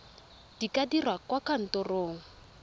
di ka dirwa kwa kantorong